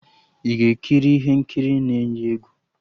Ị ga-ekiri ihe nkiri na-eyi egwu?